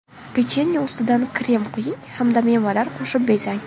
Pechenye ustidan krem quying hamda mevalar qo‘shib bezang.